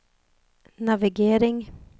navigering